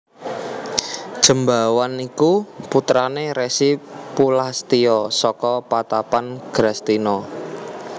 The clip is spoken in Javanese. Jembawan iku putrané Resi Pulastya saka patapan Grastina